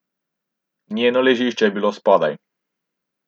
Njeno ležišče je bilo spodaj.